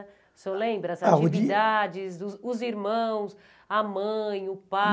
O senhor lembra as atividades, os irmãos, a mãe, o pai?